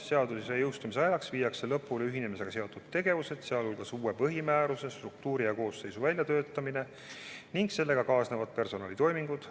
Seaduse jõustumise ajaks viiakse lõpule ühinemisega seotud tegevused, sealhulgas uue põhimääruse, struktuuri ja koosseisu väljatöötamine ning sellega kaasnevad personalitoimingud.